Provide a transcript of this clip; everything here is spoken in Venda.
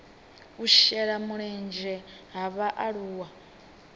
u shela mulenzhe ha vhaaluwa